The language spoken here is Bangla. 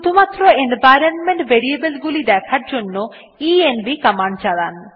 শুধুমাত্র এনভাইরনমেন্ট ভেরিয়েবল গুলি দেখার জন্য ইএনভি কমান্ড চালান